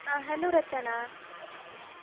ಆ hello ರಚನಾ.